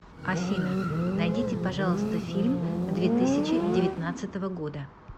афина найдите пожалуйста фильм две тысячи девятнадцатого года